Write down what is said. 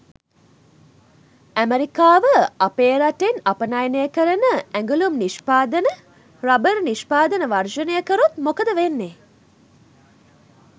ඇමරිකාව අපේ රටෙන් අපනයනය කරන ඇගලුම් නිෂ්පාදන රබර් නිෂ්පාදන වර්ජනය කරොත් මොකද වෙන්නේ?